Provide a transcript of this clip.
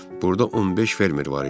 Burada 15 fermer var idi.